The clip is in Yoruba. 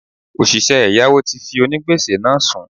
Òsìsẹ́ ẹ̀yáwó ti fi onígbèsè náà sùn